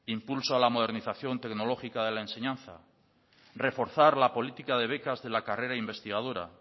impulso a la modernización tecnológica de la enseñanza reforzar la política de becas de la carrera investigadora